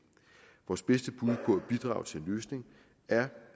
vores bedste bud på at bidrage til en løsning er